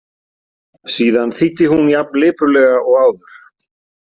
Síðan þýddi hún jafn lipurlega og áður.